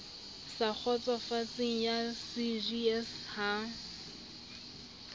sa kgotsofatseng ya cjs ha